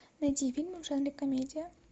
найди фильмы в жанре комедия